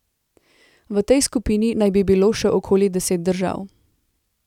V tej skupini naj bi bilo še okoli deset držav.